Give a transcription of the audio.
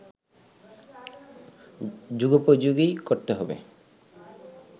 যুগোপযোগী করতে হবে